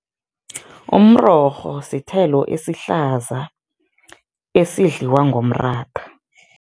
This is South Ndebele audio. Umrorho sithelo esihlaza esidliwa ngomratha.